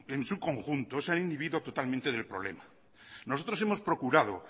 en su conjunto se han inhibido totalmente del problema nosotros hemos procurado